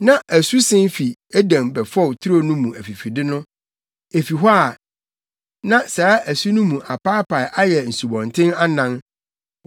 Na asu sen fii Eden bɛfɔw turo no mu afifide no; efi hɔ a, na saa asu no mu apaapae ayɛ nsubɔnten anan.